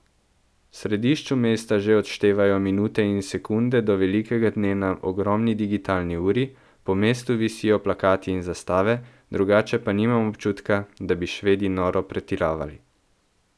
V središču mesta že odštevajo minute in sekunde do velikega dne na ogromni digitalni uri, po mestu visijo plakati in zastave, drugače pa nimam občutka, da bi Švedi noro pretiravali.